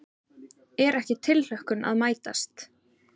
Er ekki tilhlökkun að mætast?